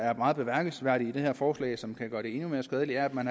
er meget bemærkelsesværdig i det her forslag og som kan gøre det endnu mere skadeligt er at man